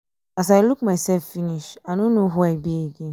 as i look myself finish i no know who i be again.